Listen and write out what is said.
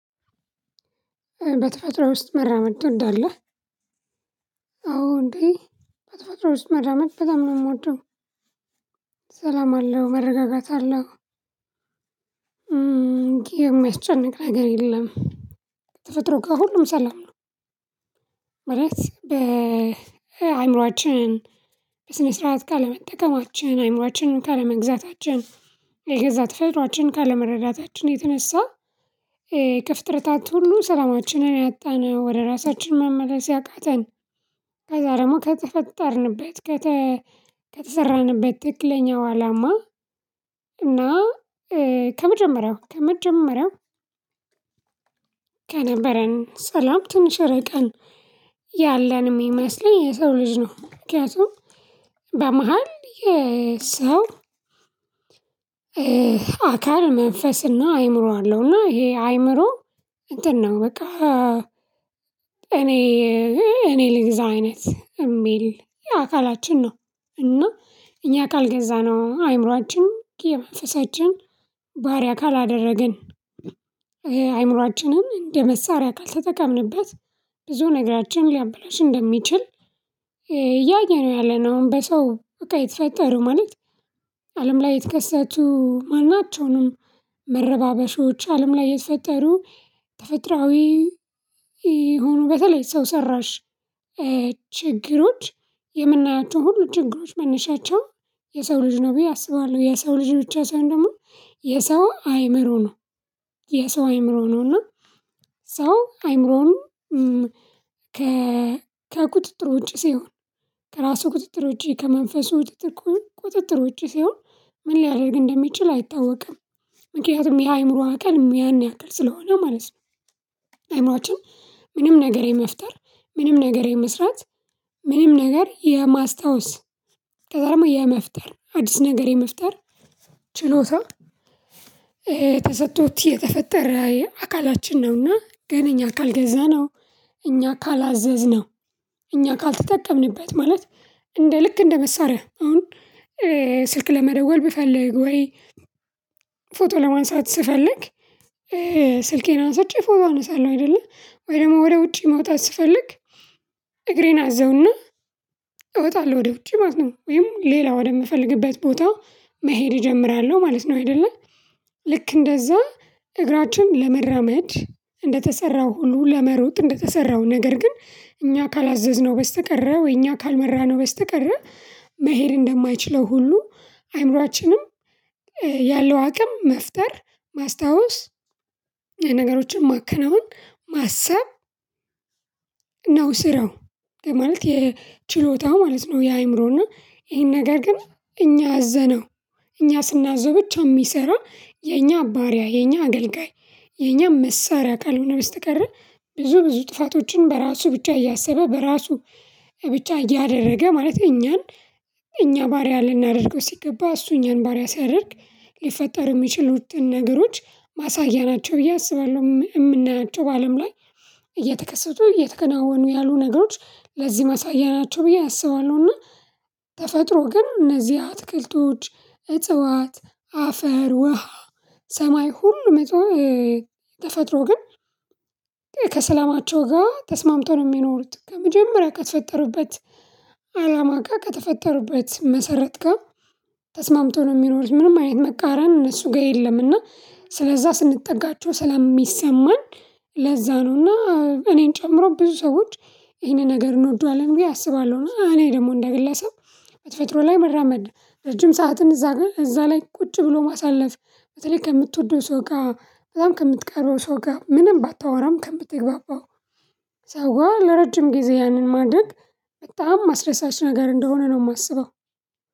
በተፈጥሮ ውስጥ መራመድ ትወዳለህ? አዎ እንዴ በተፈጥሮ ውስጥ መራመድ በጣም ነው የምወደው። ሰላም አለው መረጋጋት አለው። የሚያስጨንቅ ነገር የለም። ተፈጥሮ ጋር ሁሉም ሰላም ነው። ማለት በአእምሮአችን በስነ ስርዓት ካለመጠቀማችን አእምሮአችን ካለመግዛታችን የገዛ ጠፈጥሯችን ካለመረዳታችን የተነሳ የከፍጥርታት ሁሉ ሰላማችንን ያጣነው ወደ ራሳችን መመለስ ያቃተን ከዛ ደግሞ ከተፈጠርንበት ከተሰራንበት ትክለለኛው አላማ እና ከመጀመሪያው ከመጀመሪያው ከነበረን ሰላም ትንሽ ርቀን ያለን የሚመስለኝ የሰው ልጅ ነው። ምክኒያቱም በመሃል የሰው አካል መንፈስና አይምሮ አለው እና ይሄ አይምሮ እንትን ነው በቃ እኔ እኔ ልግዛ አይነት የሚል የአካላችን ነው። እና እኛ ካልገዛነው አይምሮአችን ኬመፈሳችን ባህሪይ አካል አደረግን። አይምሮአችንም እንደ መሳሪያ ካልተጠቀምንበት ብዙ ነገራችን ሊያብለሽ እንደሚችል። ያየነው ያለነውን በሰው በቃ የተፈጠሩ ማለት አለም ላይ የተከሰቱ ማናቸውንም መረባበሾች አለም ላይ የተፈጠሩ ተፈጥራዊ ይሁኑ በተለይ ሰው ሰራሽ ችግሮች የምናያቸው ሁሉ ችግሮች መነሻቸው የሰው ልጅ ነው ብዬ አስባለሁ። የሰው ልጅ ብቻ ሳይሆን ደግሞ የሰው አይምሮ ነው። የሰው አይምሮ ነው እና ሰው አይምሮውን ከቁጥጥር ውጪ ሲሆን ከራሱ ቁጥጥር ውጪ ከመንፈሱ ቁጥጥር ውጪ ሲሆን ምን ሊያደርግ እንደሚችል አይታወቅም። ምክንያቱም ያ አይምሮ አካል ያን ያክል ስለሆነ ማለት ነው። አእምሮአችን ምንም ነገር የመፍጠር ምንም ነገር የመስራት ምንም ነገር የማስታወስ ከዛ ደግሞ የመፍጠር አዲስ ነገር የመፍጠር ችሎታ። ተሰጥቶት የተፈጠረ የ አካላችን ነውና ግን እኛ ካልገዛነው እኛ ካላዘዝነው እኛ ካልተጠቀምንበት ማለት እንደ ልክ እንደ መሳሪያ አሁን። ስልክ ለመደወል ብፈልግ ወይ ፎቶ ለማንሳት ስፈልግ ስልኬን አንስቼ ፎቶ አነሳለሁ አይደለ ወይ ደግሞ ወደ ውጪ ማውጣት ስፈልግ እግሬን አዘውና እወጣለሁ ወደ ውጪ ማለት ነው። ወይም ሌላ ወደምፈልግበት ቦታ መሄድ እጀምራለሁ ማለት ነው። አይደለ ልክ እንደዛ እግራችን ለመራመድ እንደተሰራው ሁሉ ለመሮጥ እንደተሰራው ነገር ግን እኛ ካላዘዝነው በስተቀረው እኛ ካልመራነው በስተቀረ መሄድ እንደማይችለው ሁሉ አይምሮአችንም። ያለው አቅም መፍጠር ማስታወስ ነገሮችን ማከናወን ማሰብ ነው ስራው ማለት የችሎታው ማለት ነው። የአእምሮና ይሄን ነገር ግን እኛ አዘነው እኛ ስናዘው ብቻ የሚሰራ የኛ ባሪያ የኛ አገልጋይ የኛ መሳሪያ ካልሆነ በስተቀር። ብዙ ብዙ ጥፋቶችን በራሱ ብቻ እያሰበ በራሱ ብቻ እያደረገ ማለት እኛን እኛ ባሪያ ልናደርገው ሲገባ እሱ እኛን ባሪያ ሲያደርግ ሊፈጠር የሚችል ውጥን ነገሮች ማሳያ ናቸው ብዬ አስባለሁ። የምንላቸው በአለም ላይ እየተከሰቱ እየተከናወኑ ያሉ ነገሮች ለዚህ ማሳያ ናቸው ብዬ አስባለሁና። ተፈጥሮ ግን እነዚህ አትክልቶች እጽዋት አፈር ውሃ ሰማይ ሁሉም መጥቶ ተፈጥሮ ግን ከሰላማቸው ጋር ተስማምተው ነው የሚኖሩት ከመጀመሪያ ከተፈጠሩበት አላማ ጋር ከተፈጠሩበት መሰረት ጋር ተስማምቶ ነው የሚኖሩት። ምንም አይነት መቃረን እነሱ ጋር የለም። እና ስለዛ ስንጠጋቸው ስለሚሰማን ለዛ ነው ነውና እኔን ጨምሮ ብዙ ሰዎች ይሄንን ነገር እንወደዋለን ብየ አስባለሁና። እኔ ደግሞ እንደ ግለሰብ በተፈጥሮ ላይ መራመድ ረጅም ሰዓትን እዛ ጋር እዛ ላይ ቁጭ ብሎ ማሳለፍ በተለይ ከምትወደው ሰው ጋር ከምትቀርበው ሰው ጋር ምንም ባታወራም ከምትግባባው ሰው ጋር ለረጅም ጊዜ ያንን ማድረግ በጣም አስደሳች ነገር እንደሆነ ነው የማስበው።